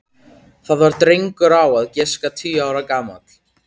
Það var drengur á að giska tíu ára gamall.